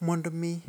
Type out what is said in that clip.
Mondo omi